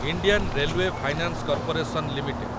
Indian railway finance corporation limited